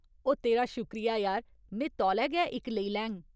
ओह्, तेरा शुक्रिया यार, में तौले गै इक लेई लैङ।